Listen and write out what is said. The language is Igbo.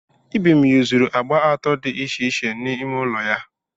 Ibim yuzuru agba atọ dị iche iche n'ime ụlọ ya.